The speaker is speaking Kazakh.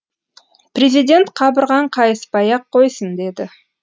президент қабырғаң қайыспай ақ қойсын деді